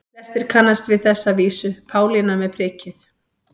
Flestir kannast við þessa vísu: Pálína með prikið